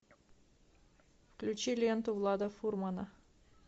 включи ленту влада фурмана